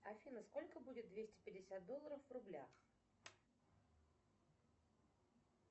афина сколько будет двести пятьдесят долларов в рублях